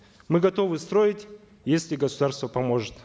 мы готовы строить если государство поможет